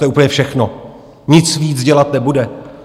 To je úplně všechno, nic víc dělat nebude.